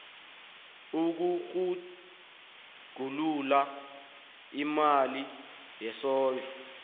ukutjhugulula imali yesondlo